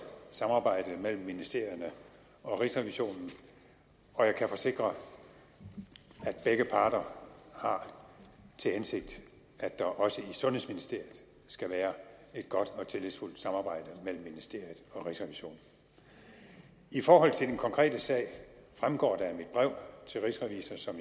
samarbejde mellem ministerierne og rigsrevisionen og jeg kan forsikre at begge parter har til hensigt at der også i sundhedsministeriet skal være et godt og tillidsfuldt samarbejde mellem ministeriet og rigsrevisionen i forhold til den konkrete sag fremgår det af mit brev til rigsrevisor som